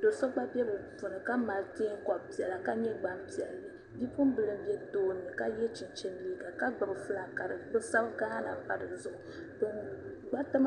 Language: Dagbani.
do'so gba be bɛ puuni ka mali teenkob'piɛla ka nye gbampiɛlli bi'puɣimbila n be tooni ka ye chinchin liiga ka gbibi filak ka bɛ sabi gaana m pa dizuɣu gbariti maa